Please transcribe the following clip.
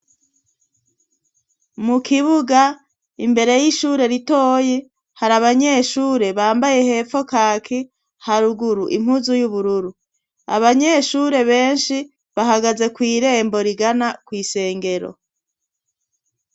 Abanyeshure biga imyuga ijanye n'ubuhinga abo banyeshure bambaye imyambaro isa n'irangiryo ubururu bakaba bari mu nyubakwa yagenewe gukorerwamwo imwimenyerezo ijanye ni wo mwuga wabo.